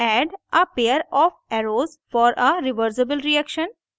add a pair of arrows for a reversible reaction